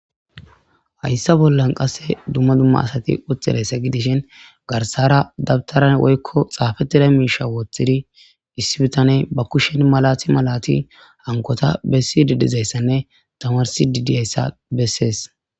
hayssa bollan qasse dumma dumma asati wotxidayssa gidishin garsara dabtara woykko xaafettida miisha wooththidi issibitane ba kushshen malati malati hankota bessi dedizayssanne tamarsi didyayssa bessees